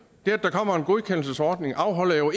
det at der kommer en godkendelsesordning afholder jo